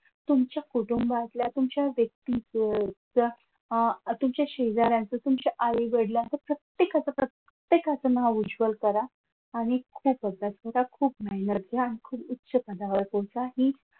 तुमच्या कुटुंबातल्या तुमच्या व्यक्तीचे तुमच्या अह तुमच्या शेजाऱ्यांचे तुमच्या आई वडिलांच प्रत्येकाच प्रत्येकाचं नाव उज्ज्वल करा. आणि खूप थोडं खूपच मेहनत घ्या आणि खूप उच्च पदावर पोहचा की